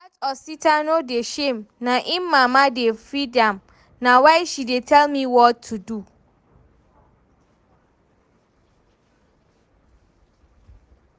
Dat Osita no dey shame, na im mama dey feed am, na why she dey tell am what to do